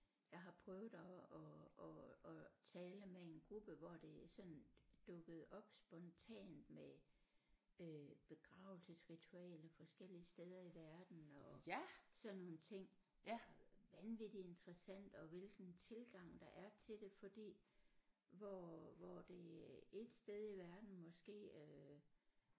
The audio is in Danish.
Jeg har prøvet at at at at tale med en gruppe hvor det sådan dukkede op spontant med øh begravelsesritualer forskellige steder i verden og sådan nogle ting vanvittigt interessant og hvilken tilgang der er til det fordi hvor hvor det et sted i verden måske øh